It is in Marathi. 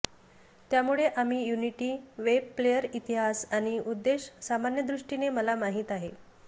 त्यामुळे आम्ही युनिटी वेब प्लेअर इतिहास आणि उद्देश सामान्य दृष्टीने मला माहीत आहे